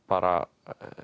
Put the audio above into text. bara